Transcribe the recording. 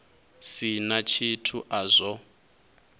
si na tshithu a zwo